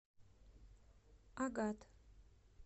агат